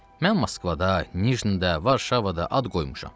Mən Moskvada, Nijnıda, Varşavada ad qoymuşam.